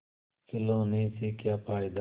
खिलौने से क्या फ़ायदा